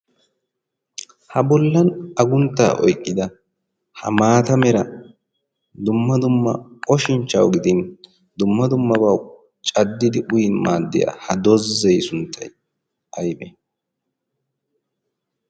ha bollan agunttaa oyqqida ha maata mera dumma dumma oshinchchawu gidin dumma dummabawu caddidi uyin maaddiyaa ha dozzee sunttay aybe